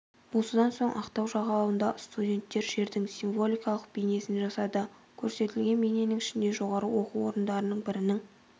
осыдан соң ақтау жағалауында студенттер жердің символикалық бейнесін жасады көрсетілген бейненің ішінде жоғары оқу орындарының бірінің